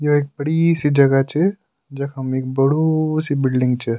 यो एक बड़ी सी जगह च जखम एक बड़ु सी बिलडिंग च।